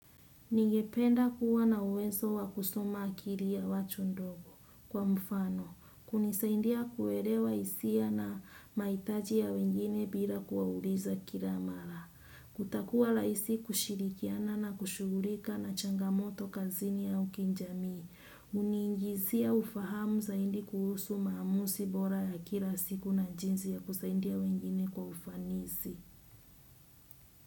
Ningependa kuwa na uwezo wa kusoma akili ya watu ndogo kwa mfano. Kunisaidia kuelewa hisia na mahitaji ya wengine bila kuwauliza kila mara. Kutakuwa rahisi kushirikiana na kushughulika na changamoto kazini au kijamii. Huni ingizia ufahamu zaidi kuhusu maamuzi bora ya kila siku na jinsi ya kusaidia wengine kwa ufanisi.